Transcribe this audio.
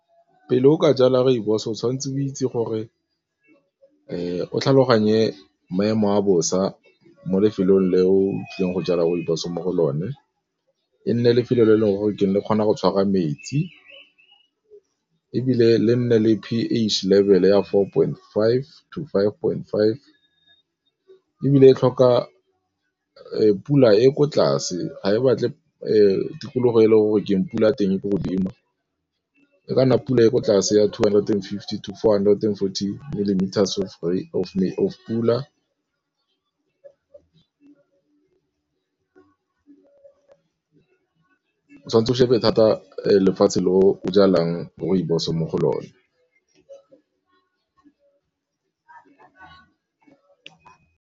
Pele o ka jala rooibos o tshwanetse o itse gore o tlhaloganye maemo a bosa mo lefelong le o tlileng go jala rooibos mo go lone, e nne lefelo le e leng gore ke ne ke kgona go tshwara metsi ebile le nne le p_H level ya for point five to five point five ebile e tlhoka pula e ko tlase ga e batle tikologo e e leng gore keng, pula teng e ko godimo, e ka nna pula e ko tlase ya two hundred and fifty to four hundred and forty millimeters of pula o tshwanetse o shebe thata lefatshe le o jalang rooibos mo go lone.